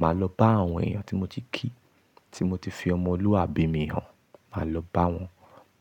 màá lọ bá àwọn èèyàn tí mo ti kí, tí mo ti fi ọmọlúwàbí mi hàn, màá lọ bá wọn.